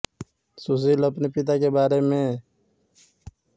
सुशील अपने पिता के बारे में बड़ी सदमे सीखने में होगी